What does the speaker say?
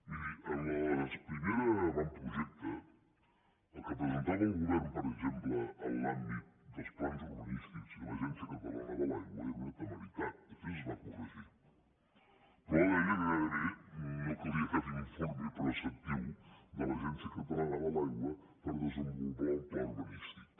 miri en el primer avantprojecte el que presentava el govern per exemple en l’àmbit dels plans urbanístics i l’agència catalana de l’aigua era una temeritat després es va corregir però deia que gairebé no calia cap informe preceptiu de l’agència catalana de l’aigua per desenvolupar un pla urbanístic